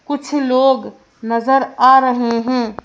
कुछ लोग नजर आ रहे हैं।